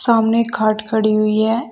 सामने खाट खड़ी हुई है।